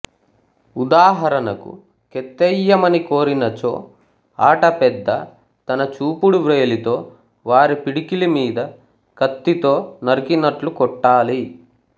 ఉదాహరణకు కెత్తెయ్యమని కోరినచో ఆట పెద్ద తన చూపుడు వ్రేలితో వారి పిడికిలి మీద కత్తితో నరికినట్లు కొట్టాలి